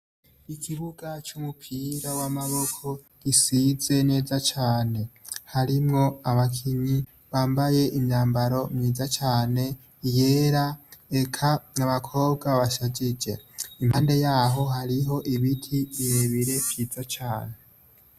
Ikibuga c' umupira w' amaboko gisize neza cane harimwo abakinyi bambaye imyambaro myiza cane iyera eka abakobwa bashajije impande yaho hariho ibiti bire bire vyiza cane